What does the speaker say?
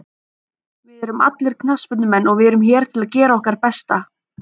Við erum allir knattspyrnumenn og við erum hér til að gera okkar besta.